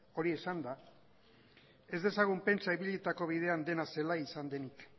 hori esanda ez dezagun pentsa ibilitako bidean dena zelai izan denik